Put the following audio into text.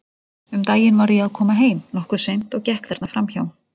Um daginn var ég að koma heim, nokkuð seint, og gekk þarna fram hjá.